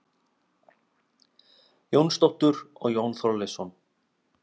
Jónsdóttur og Jón Þorleifsson.